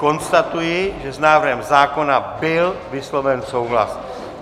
Konstatuji, že s návrhem zákona byl vysloven souhlas.